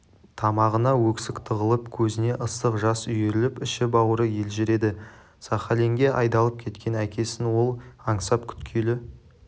тамағына өксік тығылып көзіне ыстық жас үйіріліп іші-бауыры елжіреді сахалинге айдалып кеткен әкесін ол аңсап күткелі